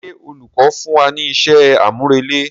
Ṣé olùkọ́ fún wa ní iṣẹ́ àmúrelé?